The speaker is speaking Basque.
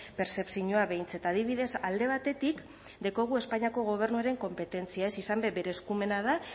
pertzepzioa behintzat adibidez alde batetik daukagu espainiako gobernuaren konpetentzia izan be bere eskumena da